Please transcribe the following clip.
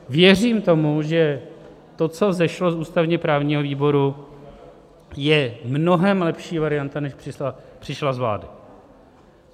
Věřím tomu, že to, co vzešlo z ústavně-právního výboru, je mnohem lepší varianta, než přišla z vlády.